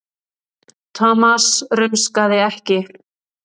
Thomas rumskaði ekki.